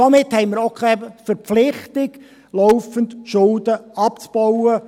Somit haben wir auch keine Verpflichtung, laufend Schulden abzubauen.